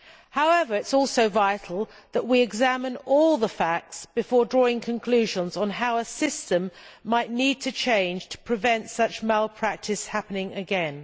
However, it is also vital that we examine all the facts before drawing conclusions on how a system might need to change to prevent such malpractice happening again.